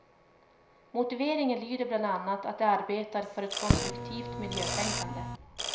Motiveringen lyder bland annat att de arbetar för ett konstruktivt miljötänkande.